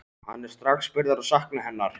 Hann er strax byrjaður að sakna hennar.